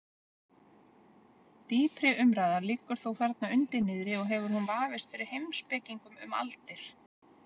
Dýpri umræða liggur þó þarna undir niðri og hefur hún vafist fyrir heimspekingum um aldir.